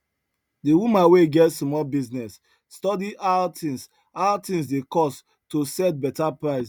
the woman wey get small business study how things how things dey cost to set better price